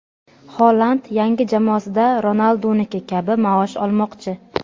Xoland yangi jamoasida Ronalduniki kabi maosh olmoqchi.